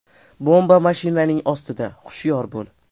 Bomba mashinang ostida, hushyor bo‘l.